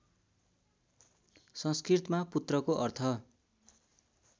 संस्कृतमा पुत्रको अर्थ